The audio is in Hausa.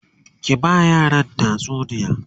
ki ba yaran tatsuniya!